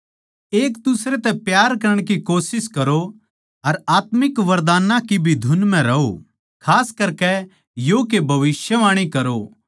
एक दुसरे तै प्यार करण की कोशिश करो अर आत्मिक वरदान्नां की भी धुन म्ह रहो खास करकै यो के भविष्यवाणी करो